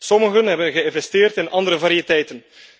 Sommigen hebben geïnvesteerd in andere variëteiten.